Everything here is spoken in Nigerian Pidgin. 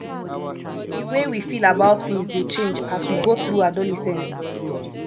di way we feel about things dey change as we go through adolescence